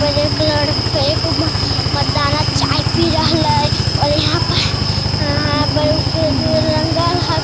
यहां पर एक लड़का एक मर्दाना चाय पी रहले और यहां पर ग ग रंगल हके।